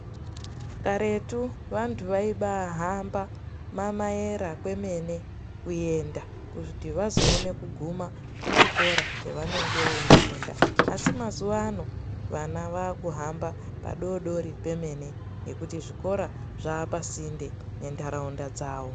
Karetu vantu vaiba hamba mamayera kwemene kuenda kuti vazoone kuguma kuchikora chavanenge veifunda asi mazuvano vana vakuhamba padodori pemene ngekuti zvikora zvapasinde nendaraunda dzavo.